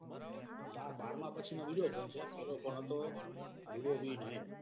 ના બારામાં પછી નો બીજો છે. પેલો phone હતો. Vivo V nine